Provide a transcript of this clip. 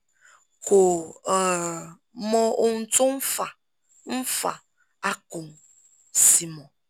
kò um mọ ohun tó ń fà ń fà á kò sì mọ̀